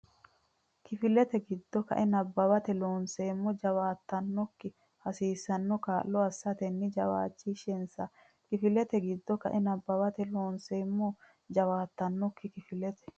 Kifilete giddo ka e nabbawate Loonseemmo jawaattannokki hasiissanno kaa lo assitanni jawaachishinsa Kifilete giddo ka e nabbawate Loonseemmo jawaattannokki Kifilete.